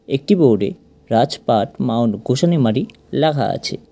একটি বোর্ডে রাজপাট মাউন্ট গোসানিমারী লেখা আছে।